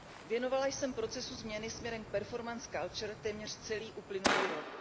Věnovala jsem procesu změny směrem k performance culture téměř celý uplynulý rok.